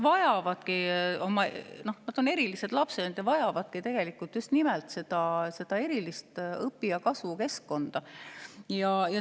Nad on erilised lapsed, nad vajavad tegelikult just nimelt erilist õpi‑ ja kasvukeskkonda.